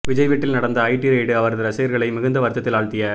விஜய் வீட்டில் நடந்த IT raid அவரது ரசிகர்களை மிகுந்த வருத்தத்தில் ஆழ்த்திய